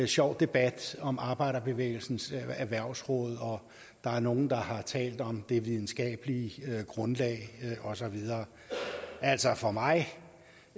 sjov debat om arbejderbevægelsens erhvervsråd og der er nogle der har talt om det videnskabelige grundlag og så videre altså for mig